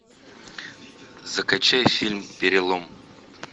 закачай фильм перелом